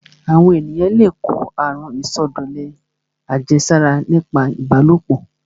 Àwọn èyàn le kó àrun ìsọdọ̀lẹ àjẹsára nípa ìbálòpọ̀.